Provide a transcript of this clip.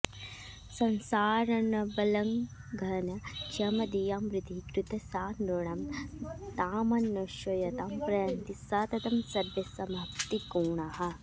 संसारार्णवलङ्घनक्षमधियां वृत्तिः कृता सा नृणां तामन्वेषयतां प्रयान्ति सततं सर्वे समाप्तिं गुणाः